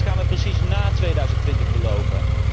Wat gaan wij precies na 2020 beloven?